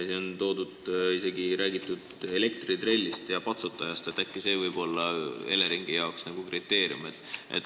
Siin on isegi räägitud elektritrellist ja patsutajast, et äkki see võib olla Eleringi jaoks nagu kriteerium.